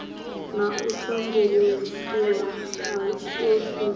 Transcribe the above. na u sambuluswa ha tshiofisi